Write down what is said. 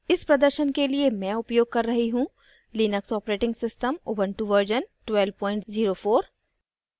इस प्रदर्शन के लिए मैं उपयोग कर रही हूँ Linux operating system Ubuntu version 1204